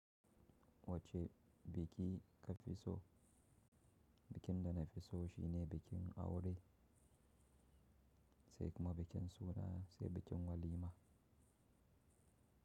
Wace biki ka fi so? Bikin dana fi so shine bikin aure, sai kuma bikin suna, sai bikin walima.